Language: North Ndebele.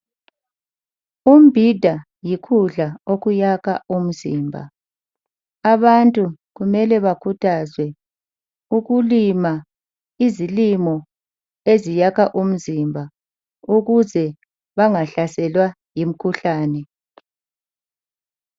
Umbhida yikudla okuyakha umzimba abantu kumele bakhuthazwe ukulima izilimo eziyakha umzimba ukuze bengahlaselwa yimikhuhlane.